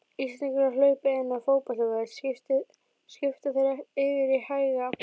Íslendingar hlaupa inn á fótboltavöll skipta þeir yfir í hæga